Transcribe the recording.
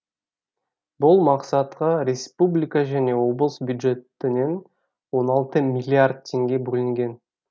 бұл мақсатқа республика және облыс бюджетінен он алты миллиард теңге бөлінген